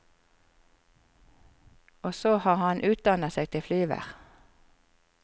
Og så har han utdannet seg til flyver.